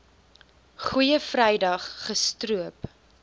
goeie vrydag gestroop